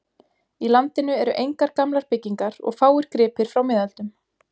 Í landinu eru engar gamlar byggingar og fáir gripir frá miðöldum.